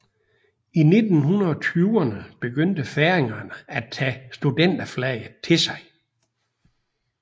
I 1920erne begyndte færingerne at tage studenterflaget til sig